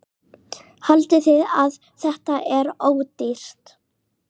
Haldiði að þetta sé ódýrt?